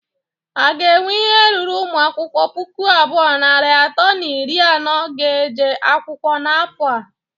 A ga enwe ihe ruru ụmụ akwụkwọ puku abụọ, narị atọ na iri anọ ga-eje akwụkwọ n'afọ a?